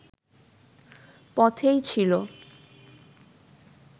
পথেই ছিল